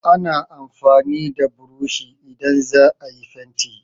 Ana amfani da burushi idan za a yi fenti